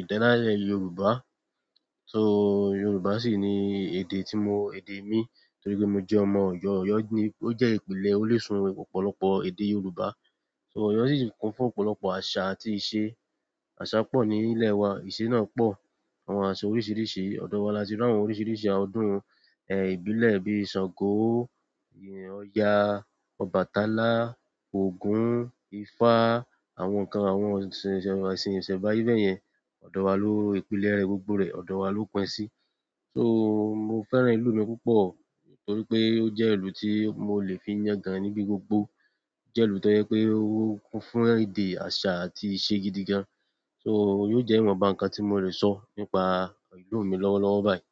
idaale yorùbá. So Yorùbá sì ni èdè tí mo, èdè mi, torí pé mo jẹ́ ọmọ Ọ̀yọ́. Ọ̀yọ́ ní ó jẹ́ ìpínlẹ̀ orísun ọ̀pọ̀lọpọ̀ èdè Yorùbá. So Ọ̀yọ́ ṣì ń kún fún ọ̀pọ̀lọpọ̀ àṣà àti ìṣe. Àṣà pọ̀ ní ilẹ̀ wa, ìṣe náà pọ̀, àwọn àṣà oríṣìíríṣìí, ọ̀dọ̀ wa la ti rí àwọn oríṣìíríṣìí ọdún. Ìbílẹ̀ bí i Ṣàngó, Ọya, Ọbàtálá, Ògún, Ifá, àwọn nǹkan, àwọn ìṣe ìsẹ̀mbàyẹ̀ yẹn, ọ̀dọ̀ wa ló-- ìpínlẹ̀ rẹ̀ gbogbo rẹ̀, ọ̀dọ̀ wa ló pín sí. So mo fẹ́ràn ìlú mi púpọ̀ torí pé ó jẹ́ ìlú tí mo lè fi yẹ gan níbi gbogbo. Ó jẹ́ ìlú tó yẹ pé ó ń kún fún èdè, àṣà àti ìṣe gidi gan. So yóò je iwonba nkan ti mo le so nípa ìlú mi lọ́wọ́lọ́wọ́ bayi.